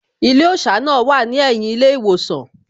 Ilé òṣà náà wà ní ẹ̀yìn ilé ìwòsàn